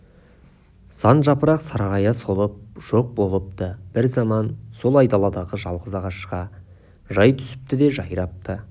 сан жапырақ сарғая солып жоқ болыпты бір заман сол айдаладағы жалғыз ағашқа жай түсіпті де жайрапты